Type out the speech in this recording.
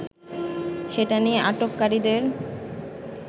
সেটা নিয়ে আটককারীদের